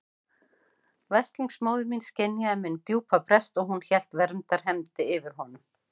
Veslings móðir mín skynjaði minn djúpa brest og hún hélt verndarhendi yfir honum.